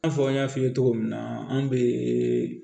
I n'a fɔ n y'a f'i ye cogo min na an bɛ